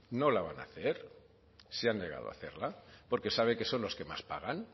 no la van a hacer se han negado a hacerla porque sabe que son los que más pagan